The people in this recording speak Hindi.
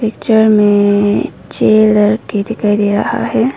पिक्चर में छे लड़के दिखाई दे रहा है।